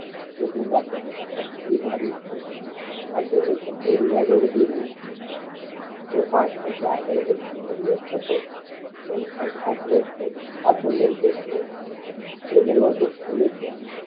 એક ઊંડા શ્વાસ સાથે એ પાંચ ડગલાં આગળ વધી રહ્યો હતો પણ એને પાંચ વર્ષ પાછળ લઈ જતી હતી